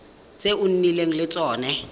tse o nnileng le tsone